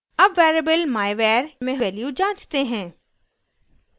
अब variable myvar में value जाँचते हैं